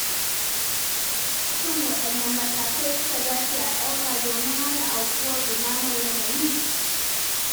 Shin waɗanne matakai suka dace a ɗauka domin hana aukuwar ɗumamar yanayi?